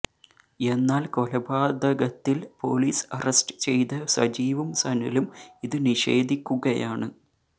എന്നാല് കൊലപാതകത്തില് police arrest ചെയ്ത സജീവും സനലും ഇത് നിഷേധിക്കുകയാണ്